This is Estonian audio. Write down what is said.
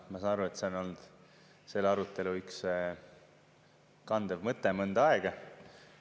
Ma saan aru, et see on olnud selle arutelu üks kandev mõte mõnda aega.